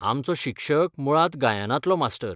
आमचो शिक्षक मुळांत गायनांतलो मास्टर.